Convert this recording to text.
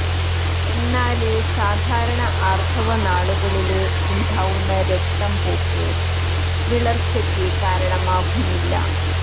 എന്നാല് സാധാരണ ആര്ത്തവ നാളുകളില് ഉണ്ടാവുന്ന രക്തം പോക്ക് വിളര്ച്ചക്ക് കാരണമാകുന്നില്ല